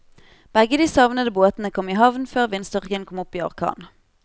Begge de savnede båtene kom i havn før vindstyrken kom opp i orkan.